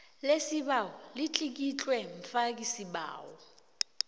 lesibawo litlikitlwe mfakisibawo